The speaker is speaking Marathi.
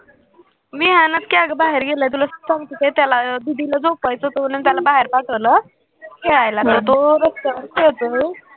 विहान बाहेर गेला तुला सांगते काय त्याला अं दिदीला झोपायचं होतं म्हणून त्याला बाहेर पाठवलं बाहेर खेळायला तर तो रस्त्यावर खेळतो